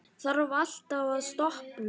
Þarf alltaf að toppa sig?